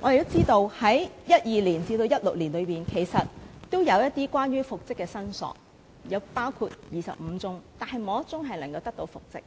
我們知道在2012年至2016年期間有25宗關於復職的申索，但沒有1宗的申索人能得到復職。